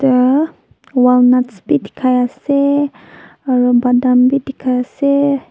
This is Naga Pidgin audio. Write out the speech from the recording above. tee walnuts bi dikhai ase aro battam bi dikhai ase.